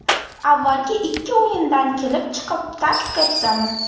Avvalgi ikki o‘yindan kelib chiqib taktika tuzamiz.